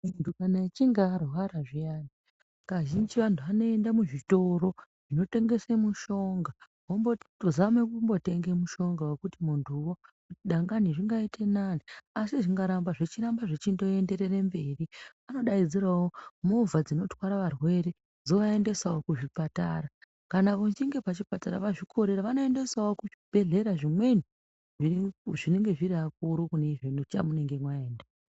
Muntu kana achinge arwara zviyani. Kazhinji antu anoenda muzvitoro zvinotengesa mishonga votombozama kutenga mushonga wekuti muntuwo dangani zvingaita nani. Asi zvingaramba zvikaramba zvichindoenderera mberi vanodaidzirawo movha dzinotwara varwere dzovaendesawo kuzvipatara. Kana vachinge kuchipatara vazvikorera vanoendesa kuzvibhendlera zvimweni zvinonga zviri akuru kune chamunenge maenda.